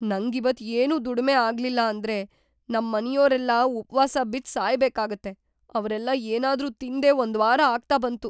ನಂಗಿವತ್ತ್‌ ಏನೂ ದುಡ್ಮೆ ಆಗ್ಲಿಲ್ಲ ಅಂದ್ರೆ ನಮ್ಮನೆಯೋರೆಲ್ಲ ಉಪ್ವಾಸ ಬಿದ್ದ್‌ ಸಾಯ್ಬೇಕಾಗತ್ತೆ, ಅವ್ರೆಲ್ಲ ಏನಾದ್ರೂ ತಿಂದೇ ಒಂದ್ವಾರ ಆಗ್ತಾ ಬಂತು.